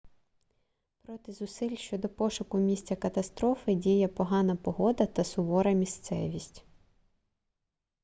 проти зусиль щодо пошуку місця катастрофи діє погана погода та сувора місцевість